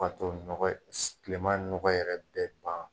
ni nɔgɔ ye kile ma nɔgɔ yɛrɛ bɛ ban